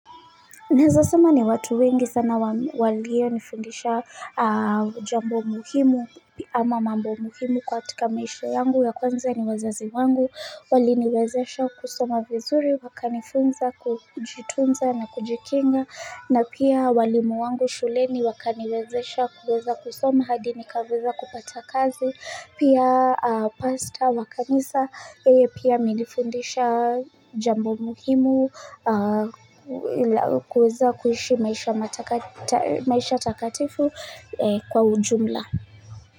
Naeza sema ni watu wengi sana walionifundisha jambo muhimu ama mambo muhimu katika maisha yangu ya kwanza ni wazazi wangu, wali niwezesha kusoma vizuri, wakanifunza, kujitunza na kujikinga, na pia walimu wangu shuleni wakaniwezesha kusoma hadi nikaweza kupata kazi, Pia pasta wa kanisa pia amenifundisha jambo muhimu kuweza kuishi maisha takatifu kwa ujumla.